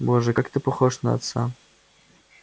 боже как ты похож на отца